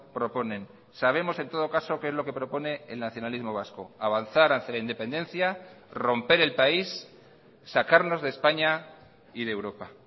proponen sabemos en todo caso qué es lo que propone el nacionalismo vasco avanzar hacia la independencia romper el país sacarnos de españa y de europa